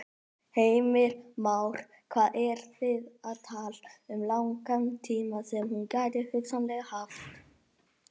Heimir Már: Hvað eru þið að tala um langan tíma sem hún gæti hugsanlega haft?